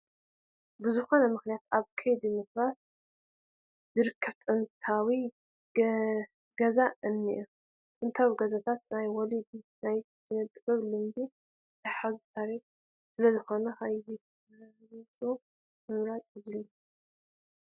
ብዝኾነ ምኽንያት ኣብ ከይዲ ምፍራስ ዝርከብ ጥንታዊ ገዛ እኒሀ፡፡ ጥንታዊ ገዛታት ናይ ወለዲ ናይ ኪነ ጥበብ፣ ልምዲ ዝሓዙ ታሪካት ስለዝኾኑ ከይፈርሱ ምፅጋን የድሊ፡፡